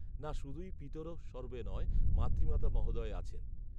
না শুধুই পিতরঃ সর্বে নয় মাতৃমাতা মহোদয় আছেন